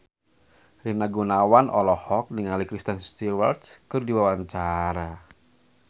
Rina Gunawan olohok ningali Kristen Stewart keur diwawancara